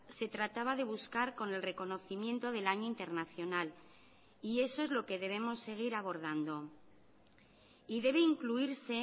se trataba de buscar con el reconocimiento del año internacional y eso es lo que debemos seguir abordando y debe incluirse